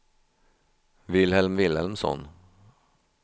Vilhelm Vilhelmsson